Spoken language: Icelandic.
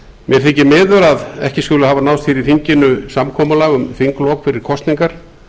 mér þykir miður að ekki skuli hafa náðst í þinginu samkomulag um þinglok fyrir kosningar